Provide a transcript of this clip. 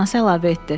Anası əlavə etdi.